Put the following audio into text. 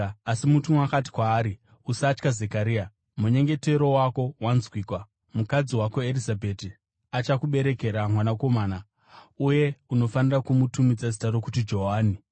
Asi mutumwa akati kwaari, “Usatya, Zekaria; munyengetero wako wanzwikwa. Mukadzi wako Erizabheti achakuberekera mwanakomana, uye unofanira kumutumidza zita rokuti Johani.